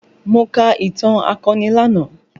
Mo ka ìtàn akọni lánàá